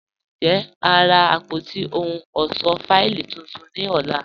Njẹ́, a n rá àpótí òhùn ọṣọ́ fáìlì tuntun ní ọ̀là?